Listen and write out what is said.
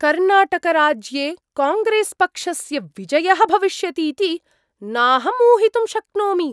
कर्णाटकराज्ये कांग्रेस्पक्षस्य विजयः भविष्यतीति नाहं ऊहितुं शक्नोमि।